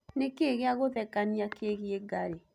nĩ kĩĩ gĩa gũthekanĩa kĩĩgĩe ngarĩ